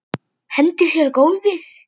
Hendir sér á gólfið.